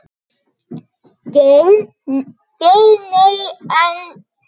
Geir Nei, en.